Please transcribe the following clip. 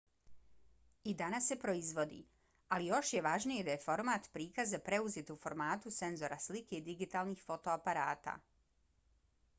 i danas se proizvodi ali još je važnije da je format prikaza preuzet u formatu senzora slike digitalnih fotoaparata